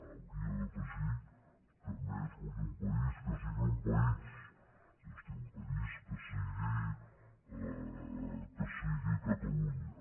hauria d’afegir que a més vull un país que sigui un país és a dir un país que sigui catalunya